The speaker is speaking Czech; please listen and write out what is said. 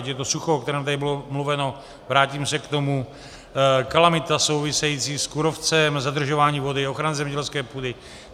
Ať je to sucho, o kterém tady bylo mluveno, vrátím se k tomu, kalamita související s kůrovcem, zadržování vody, ochrana zemědělské půdy.